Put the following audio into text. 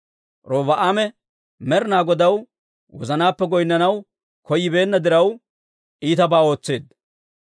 Robi'aame Med'inaa Godaw wozanaappe goynnanaw koyyibeenna diraw, iitabaa ootseedda.